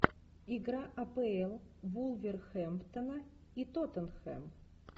игра апл вулверхэмптона и тоттенхэм